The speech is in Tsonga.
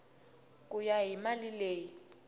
ku ya hi mali leyi